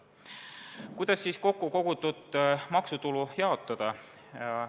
Kuidas siis kokku kogutud maksutulu jaotada?